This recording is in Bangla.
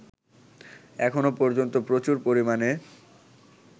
এখনো পর্যন্ত প্রচুর পরিমাণে